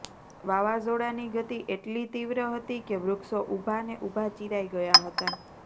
વાવાઝોડાની ગતી એટલી તીવ્ર હતી કે વૃક્ષો ઉભા ને ઉભા ચીરાઈ ગયા હતા